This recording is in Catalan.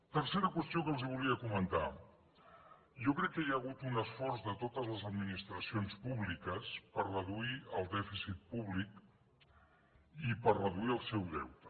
tercera qüestió que els volia comentar jo crec que hi ha hagut un esforç de totes les administracions públiques per reduir el dèficit públic i per reduir ne el deute